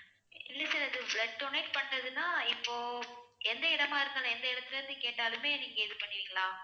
இல்லை sir இது blood donate பண்றதுன்னா இப்போ எந்த இடமா இருந்தாலும் எந்த இடத்திலே இருந்து கேட்டாலுமே நீங்க இது பண்ணுவீங்களா